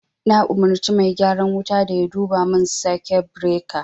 Na umarci mai gyaran wuta da yaduba mun sake beraka